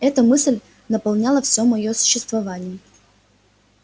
эта мысль наполняла всё моё существование